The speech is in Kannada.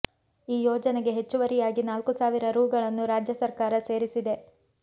ಈ ಯೋಜನೆಗೆ ಹೆಚ್ಚುವರಿಯಾಗಿ ನಾಲ್ಕು ಸಾವಿರ ರೂಗಳನ್ನು ರಾಜ್ಯ ಸರ್ಕಾರ ಸೇರಿಸಿದೆ